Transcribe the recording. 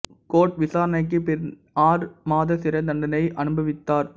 court விசாரனைக்கு பின் ஆறு மாத சிறை தண்டனை அனுபவித்தார்